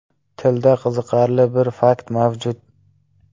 Tilda qiziqarli bir fakt mavjud.